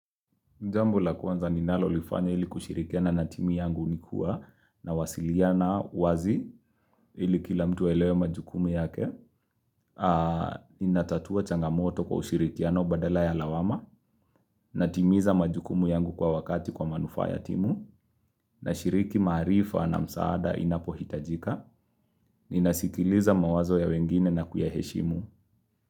Jambo la kwanza ninalolifanya ili kushirikiana na timu yangu nikuwa na wasiliana wazi ili kila mtu awelewe majukumu yake. Ninatatua changamoto kwa ushirikiano badala ya lawama, natimiza majukumu yangu kwa wakati kwa manufaa ya timu, na shiriki marifa na msaada inapohitajika, ninasikiliza mawazo ya wengine na kuyaheshimu.